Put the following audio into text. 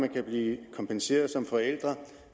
kan blive kompenseret